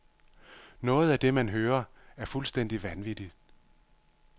Noget af det, man hører, er fuldstændig vanvittigt.